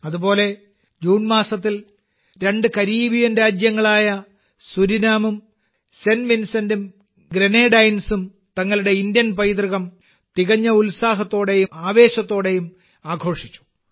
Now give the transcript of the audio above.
അതുപോലെ ജൂൺ മാസത്തിൽ രണ്ട് കരീബിയൻ രാജ്യങ്ങളായ സുരിനാമും സെന്റ് വിൻസെന്റും ഗ്രനേഡൈൻസും തങ്ങളുടെ ഭാരതീയ പൈതൃകം തികഞ്ഞ ഉത്സാഹത്തോടെയും ആവേശത്തോടെയും ആഘോഷിച്ചു